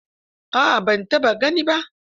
A'a ban taɓa gani ba